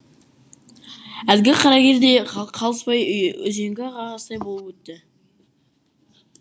әлгі қарагер де қалыспай үзеңгі қағыстай болып өтті